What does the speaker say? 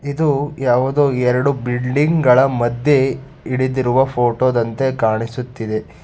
ಇದು ಯಾವುದೋ ಎರಡು ಬಿಲ್ಡಿಂಗ್ ಗಳ ಮಧ್ಯ ಹಿಡಿದಿರುವ ಫೋಟೋ ದಂತೆ ಕಾಣಿಸುತ್ತಿದೆ.